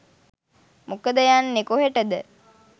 මොකද යන්නෙ කොහෙටද